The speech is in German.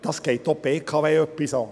Das geht auch die BKW etwas an.